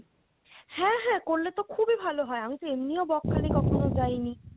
হ্যা হ্যা করলে তো খুবই ভালো হয় আমি তো এমনিও বকখালি কখনো যাই নি